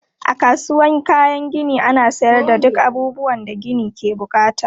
A kasuwan kayan gini ana sayar da duk abubuwan da gini ke bukata.